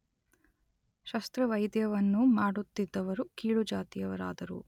ಶಸ್ತ್ರವೈದ್ಯವನ್ನು ಮಾಡುತ್ತಿದ್ದವರು ಕೀಳು ಜಾತಿಯವರಾದರು.